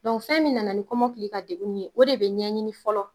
Dɔn fɛn min nana ni kɔmɔkili ka degun ye o de be ɲɛɲini fɔlɔ